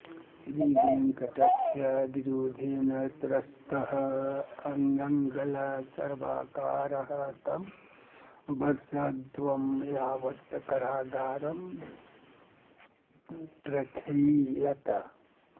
श्रीवेङ्कटस्य विरोधेन त्रस्तः आङ्ग्लसर्वाकारः तं वर्षद्यं यावत् कारागारं प्रैषयत्